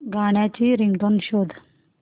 गाण्याची रिंगटोन शोध